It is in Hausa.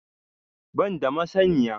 Ban da masaniya